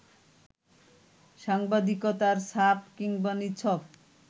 সাংবাদিকতার ছাপ কিংবা নিছক